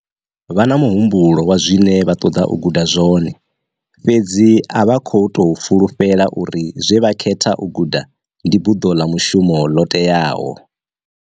Vha na muhumbulo wa zwine vha ṱoḓa u guda zwone, fhedzi a vha khou tou fhulufhela uri zwe vha khetha u guda ndi buḓo ḽa mushumo ḽo teaho.